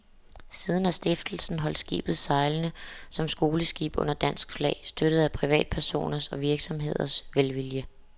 Siden har stiftelsen holdt skibet sejlende som skoleskib under dansk flag, støttet af privatpersoners og virksomheders velvilje.